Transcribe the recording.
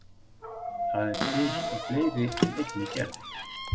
Það er til í fleiri en einni gerð.